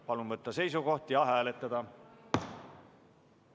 Palun võtta seisukoht ja hääletada!